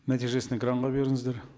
нәтижесін экранға беріңіздер